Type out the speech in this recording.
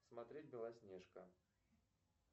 смотреть белоснежка